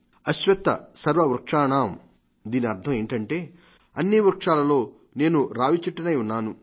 అశ్వత్థ సర్వ వృక్షాణాం దీని అర్థం ఏమిటంటే అన్ని వృక్షాలలో నేను రావి చెట్టును